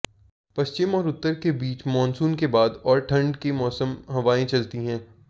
पश्चिम और उत्तर के बीच मानसून के बाद और ठंड के मौसम हवाएं चलती है